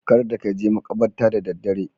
Kada ka je maƙabarta da daddare.